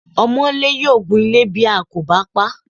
Ọmọńlé yóò gunle ilé bí a kò bá paá.